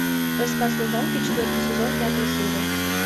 рассказ служанки четвертый сезон пятая серия